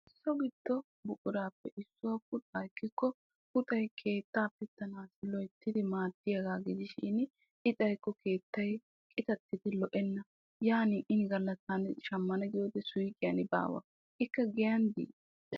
so giddo buquraappe issuwa puxaa ekkikko puxay keettaa pittanaassi loyittidi maaddiyaagaa gidishin i xayikko keettay qitattidi lo'enna. yaanin ini galla taani shammana giyode suyiqiyan baawa ikka giyan di?